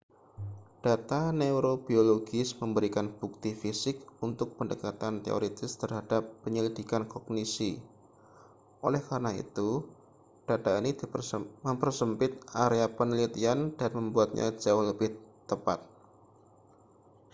data neurobiologis memberikan bukti fisik untuk pendekatan teoritis terhadap penyelidikan kognisi oleh karena itu data ini mempersempit area penelitian dan membuatnya jauh lebih tepat